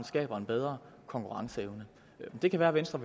skaber en bedre konkurrenceevne men det kan være at venstre